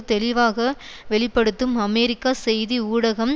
தெளிவாகவே வெளி படுத்தும் அமெரிக்க செய்தி ஊடகம்